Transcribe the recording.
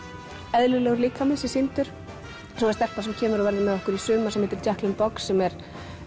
eðlilegur líkami sé sýndur svo er stelpa sem kemur og verður með okkur í sumar sem heitir box sem er